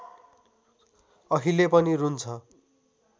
अहिले पनि रुन्छ